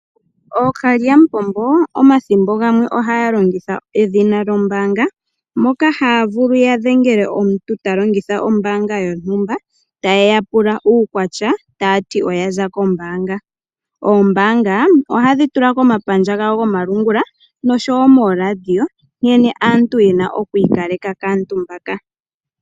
Ookalyamupombo omathimbo gamwe ohaya longitha edhina lyombaanga moka haya vulu yadhengele omuntu talongitha ombaanga yontumba tayeya pula uukwatya tayati oyaza kombaanga. Oombaanga ohadhi tula komapandja gawo gomalungula noshowo mooladiyo nkene aantu yena okwiikaleka kaantu mbaka.